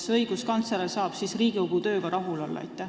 Kas õiguskantsler saab Riigikogu tööga rahul olla?